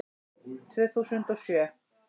Tvö þúsund og sjö